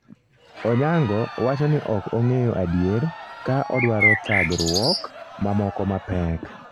Onyango wacho ni ok ong'eyo adier ka odwaro thagruok mamoko mapek